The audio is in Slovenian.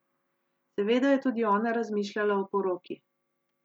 Seveda je tudi ona razmišljala o poroki.